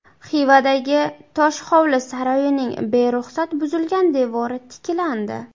Xivadagi Toshhovli saroyining beruxsat buzilgan devori tiklandi.